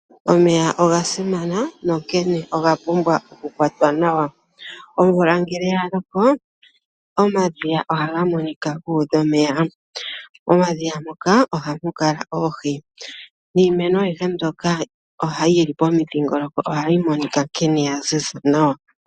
Omeya ogasimana nonkene oga pumbwa okukwatwa nawa . Omvula ngele yaloko omadhiya ohaga monika gu udha omeya. Momadhiya moka ohamukala oohi niimeno ayihe mbyoka yi li po mudhingoloko o ha yi monika nkene ya ziza nawa.